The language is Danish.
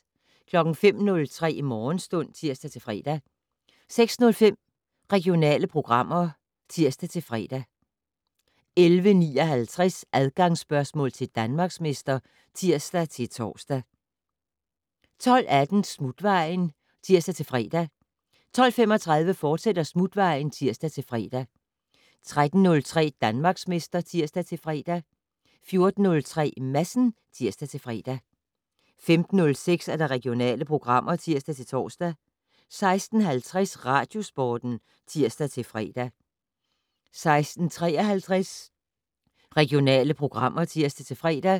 05:03: Morgenstund (tir-fre) 06:05: Regionale programmer (tir-fre) 11:59: Adgangsspørgsmål til Danmarksmester (tir-tor) 12:18: Smutvejen (tir-fre) 12:35: Smutvejen, fortsat (tir-fre) 13:03: Danmarksmester (tir-fre) 14:03: Madsen (tir-fre) 15:06: Regionale programmer (tir-tor) 16:50: Radiosporten (tir-fre) 16:53: Regionale programmer (tir-fre)